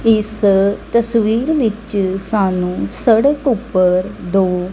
ਇੱਸ ਤਸਵੀਰ ਵਿੱਚ ਸਾਨੂੰ ਸੜਕ ਊਪਰ ਦੋ--